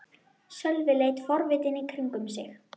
Sölvi leit forvitinn í kringum sig.